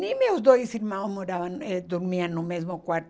Nem meus dois irmãos moravam eh dormiam no mesmo quarto.